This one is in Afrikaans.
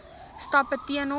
stappe teen hom